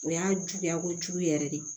O y'a juguya kojugu yɛrɛ de